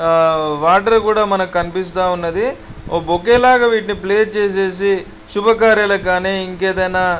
ఆ వాటర్ కూడా మనకి కనిపిస్తా ఉన్నదీ. ఒక బౌక్యూ లాగా వీటిని ప్లేస్ చేసేసి శుభకార్యాలకు కానీ ఇంకేదైనా--